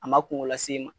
A ma kungo las'i ma